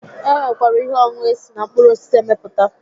E nwekwara ihe ọṅụṅụ esi na mkpụrụ osisi emepụta